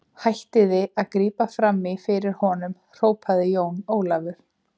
Hættið að grípa framí fyrir honum, hrópaði Jón Ólafur.